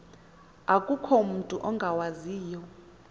akukho mutu ungawaziyo